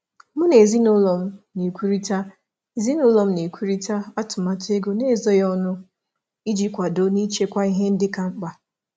M na-ekwurịta atụmatụ ego n'ezoghị ọnụ na ezinụlọ iji kwado na ihe kacha mkpa nchekwa.